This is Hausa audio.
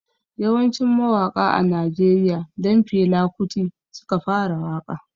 Yawancin mawaƙa a najeriya don fela kuti suka fara waƙa